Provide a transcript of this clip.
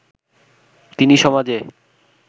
তিনি সমাজে